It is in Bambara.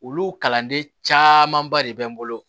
Olu kalanden camanba de bɛ n bolo